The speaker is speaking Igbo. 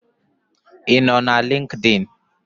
I no na linkdin?